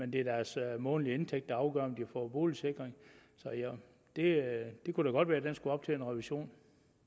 det er deres månedlige indtægt der afgør om de får boligsikring så det kunne da godt være at den skulle op til revision